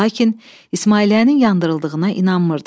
Lakin İsmailiyyənin yandırıldığına inanmırdım.